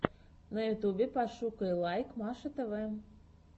на ютюбе пошукай лайк маша тв